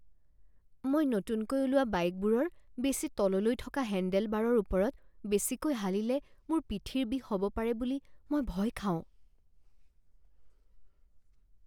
মই নতুনকৈ ওলোৱা বাইকবোৰৰ বেছি তললৈ থকা হেণ্ডেলবাৰৰ ওপৰত বেছিকৈ হালিলে মোৰ পিঠিৰ বিষ হ'ব পাৰে বুলি মই ভয় খাওঁ।